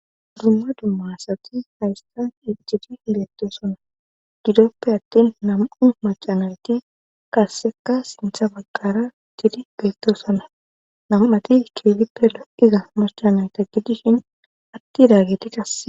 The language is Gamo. dumma dummasati haystan iccidi hidettosana gidoppe attin nam7u macanayti kassekka sintha bagqara tidi geettosana nam7ati keelippe lo7iza macanayta gidishin atti daagedi kass